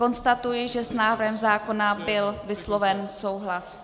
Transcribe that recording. Konstatuji, že s návrhem zákona byl vysloven souhlas.